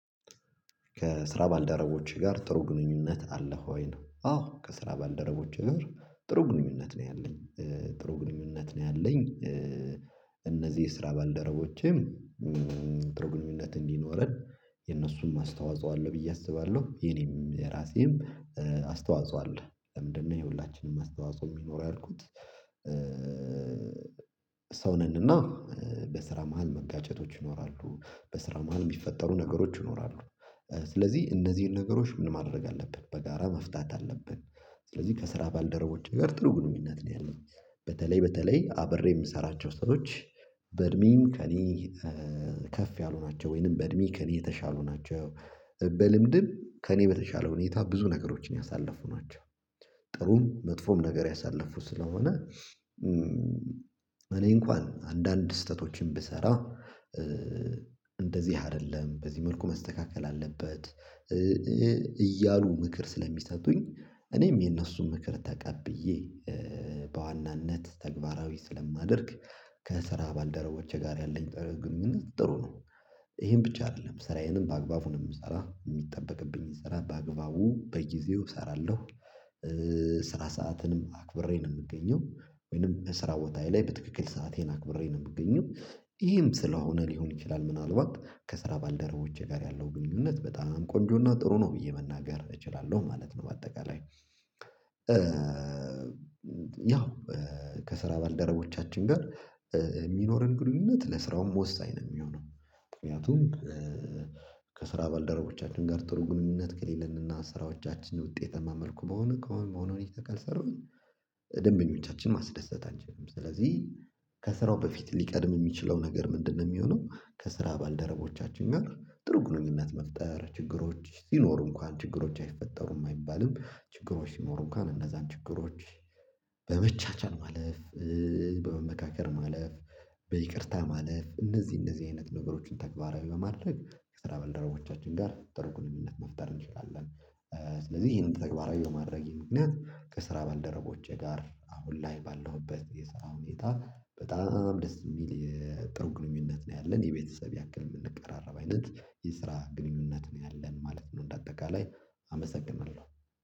ከስራ ባልደረቦቼ ጋር ጥሩ ግንኙነት አለህ ወይ ነው? አዎ ከስራ ባልደረቦቼ ጋር ጥሩ ግንኙነት ነው ያለኝ ጥሩ ግንኙነት ነው ያለኝ። እነዚህ የስራ ባልደረቦቼም ጥሩ ግንኙነት እንዲኖረን የነሱም አስተዋጽኦ አለው ብዬ አስባለሁ። የኔም የራሴም አስተዋጽኦ አለ ለምንድነው የሁላችንም አስተዋጽኦ የሚኖረው ያልኩት? ሰው ነንና በስራ መሃል መጋጨቶች ይኖራሉ በስራ መሃል የሚፈጠሩ ነገሮች ይኖራሉ። ስለዚህ እነዚህን ነገሮች ምን ማድረግ አለብን በጋራ መፍታት አለብን። ስለዚህ ከስራ ባልደረቦቼ ጋር ጥሩ ግንኙነት ነው ያለኝ። በተለይ በተለይ አብሬ የምሰራቸው ሰዎች። በእድሜም ከእኔ ከፍ ያሉ ናቸው ወይንም በእድሜ ከእኔ የተሻሉ ናቸው። በልምድም ከእኔ በተሻለ ሁኔታ ብዙ ነገሮችን ያሳለፉ ናቸው። ጥሩም መጥፎም ነገር ያሳለፉ ስለሆነ እኔ እንኳን አንዳንድ ስህተቶችን ብሰራ። እንደዚህ አይደለም በዚህ መልኩ መስተካከል አለበት። እያሉ ምክር ስለሚሰጡኝ። እኔም የነሱን ምክር ተቀብዬ በዋናነት ተግባራዊ ስለማደርግ። ከስራ ባልደረቦቼ ጋር ያለኝ ጥሩ ነው። ይሄን ብቻ አይደለም ስራዬንም በአግባቡ ነው የምሰራ የሚጠበቅብኝ ስራ በአግባቡ በጊዜው እሰራለሁ። ስራ ሰአትንም አክብሬ ነው የምገኘው። ወይንም በስራ ቦታዬ ላይ በትክክል ሰአቴን አክብሬ ነው የምገኘው። ይሄም ስለሆነ ሊሆን ይችላል ምናልባት ከስራ ባልደረቦቼ ጋር ያለው ግንኙነት በጣም ቆንጆና ጥሩ ነው ብዬ መናገር እችላለሁ ማለት ነው። በአጠቃላይ ያው ከስራ ባልደረቦቻችን ጋር የሚኖረን ግንኙነት ለስራውም ወሳኝ ነው የሚሆነው። ምክንያቱም ከስራ ባልደረቦቻችን ጋር ጥሩ ግንኙነት ከሌለንና ስራዎቻችን በውጤታማ መመልኩ በሆነ ከሆነ በሆነ ሁኔታ ካልሰራሁኝ። ደንበኞቻችን ማስደሰት አንችልም ስለዚህ ከስራው በፊት ሊቀድም የሚችለው ነገር ምንድነው? የሚሆነው ከስራ ባልደረቦቻችን ጋር ጥሩ ግንኙነት መፍጠር ችግሮች ሲኖሩ እንኳን ችግሮች አይፈጠሩም አይባልም። ችግሮች ሲኖሩ እንኳን እነዛን ችግሮች። በመቻቻል ማለፍ። በመመካከር ማለፍ። በይቅርታ ማለፍ እነዚህ እነዚህ አይነት ነገሮችን ተግባራዊ በማድረግ የስራ በልደረቦቻችን ጋር ጥርጉርነት መፍጠር እንችላለን። ስለዚህ ይሄንን ተግባራዊ በማድረጌ ምክንያት ከስራ ባልደረቦቼ ጋር አሁን ላይ ባለሁበት የስራ ሁኔታ በጣም ደስ የሚል የጥሩ ግንኙነት ነው ያለን የቤተሰብ ያክል የምንቀራረብ አይነት የስራ ግንኙነት ነው ያለን ማለት ነው። እንደ አጠቃላይ አመሰግናለሁ